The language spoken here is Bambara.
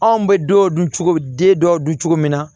Anw bɛ dɔw dun cogo den dɔw dun cogo min na